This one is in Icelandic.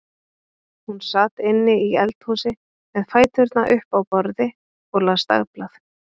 Hún sat inni í eldhúsi með fæturna upp á borði og las dagblað.